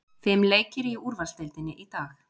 Fimm leikir í úrvalsdeildinni í dag